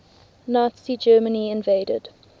nazi germany invaded